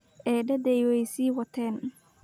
Eedaday way sii wateen